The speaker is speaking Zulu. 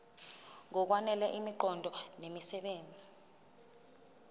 ngokwanele imiqondo nemisebenzi